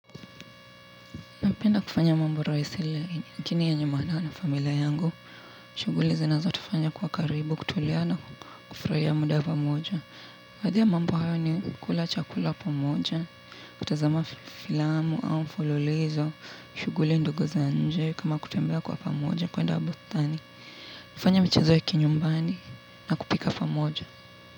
Napenda kufanya mambo rahisi lakini yenye maana na familia yangu. Shughuli zinazotufanya kwa karibu, kutulia na kufurahia muda pamoja. Baadhi ya mambo hayo ni kula chakula pamoja. Kutazama filamu au mfululizo, shughuli ndogo za nje kama kutembea kwa pamoja kuenda bustani. Kufanya michezo ya kinyumbani na kupika pamoja.